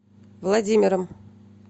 владимиром